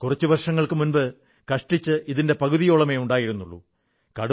കുറച്ചു വർഷങ്ങൾക്കുമുമ്പ് കഷ്ടിച്ച് ഇതിന്റെ പകുതിയോളമേ ഉണ്ടായിരുുള്ളൂ